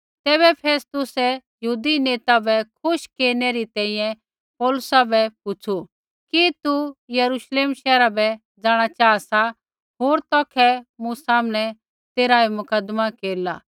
तैबै फेस्तुसै यहूदी नेता बै खुश केरनै री तैंईंयैं पौलुसा बै पुछ़ु कि तू यरूश्लेम शैहरा बै जाँणा चाहा सा होर तौखै मूँ सामनै तेरा ऐ मुकदमा केरिला